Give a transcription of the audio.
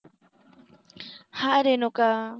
hi Renuka